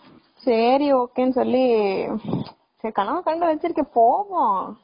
சரி ok னு சொல்லி கனவு கண்டு வச்சுருக்கேன் சரி போவோம்.